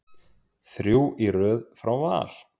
Þrjú í röð frá Val.